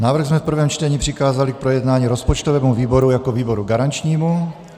Návrh jsme v prvém čtení přikázali k projednání rozpočtovému výboru jako výboru garančnímu.